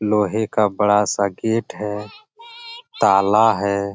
लोहे का बड़ा सा गेट है ताला है।